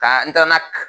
Ka n taara n'a